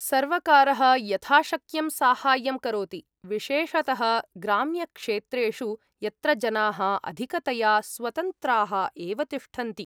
सर्वकारः यथाशक्यं साहाय्यं करोति, विशेषतः ग्राम्यक्षेत्रेषु, यत्र जनाः अधिकतया स्वतन्त्राः एव तिष्ठन्ति।